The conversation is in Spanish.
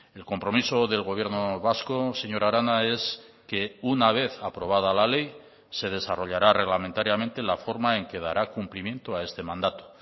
el compromiso del gobierno vasco señora arana es que una vez aprobada la ley se desarrollará reglamentariamente la forma en que dará cumplimiento a este mandato